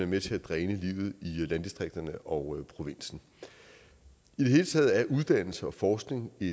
med til at dræne livet i landdistrikterne og provinsen i det hele taget er uddannelse og forskning i